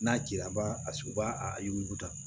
N'a cira a b'a a s u b'a a yuguda